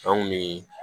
Anw bi